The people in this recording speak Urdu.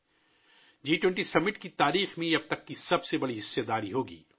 یہ جی 20 سربراہ اجلاس کی تاریخ میں اب تک کی سب سے بڑی شرکت ہوگی